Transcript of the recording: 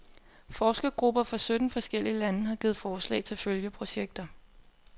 Forskergrupper fra sytten forskellige lande har givet forslag til følgeprojekter.